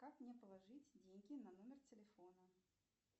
как мне положить деньги на номер телефона